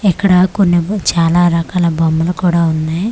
ఇక్కడ కొన్నేమో చాలా రకాల బొమ్మలు కూడా ఉన్నాయి.